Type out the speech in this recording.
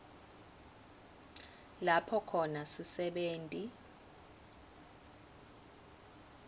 lapho khona sisebenti